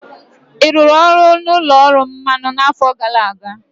Ị rụrụ ọrụ n'ụlọ ọrụ mmanụ n'afọ gara aga?